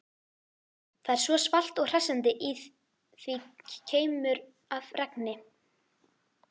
Það er svalt og hressandi, í því keimur af regni.